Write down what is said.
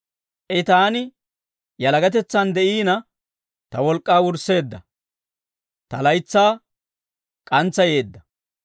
I taani yalagatetsan de'iina, ta wolk'k'aa wursseedda; ta laytsaa k'antsayeedda.